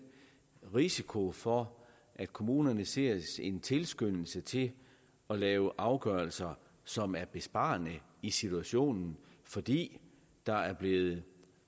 risiko for at kommunerne ser en tilskyndelse til at lave afgørelser som er besparende i situationen fordi der er blevet